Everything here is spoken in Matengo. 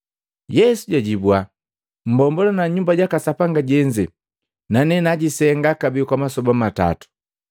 Yesu jajibua, “Mmbombula Nyumba jaka Sapanga jenze, nane najisenga kabee kwa masoba matato.”